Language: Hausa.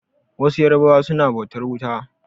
Wasu yarbawa suna bautar wuta.